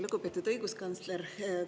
Lugupeetud õiguskantsler!